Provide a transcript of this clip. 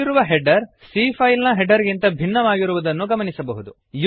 ಇಲ್ಲಿರುವ header c file ನ header ಗಿಂತ ಭಿನ್ನವಾಗಿರುವುದನ್ನು ಗಮನಿಸಬಹುದು